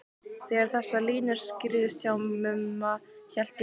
Þegar þessar línur skýrðust hjá Mumma hélt ég að